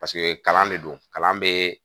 Paseke kalan de don kalan be